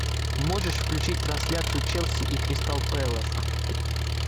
можешь включить трансляцию челси и кристал пэлас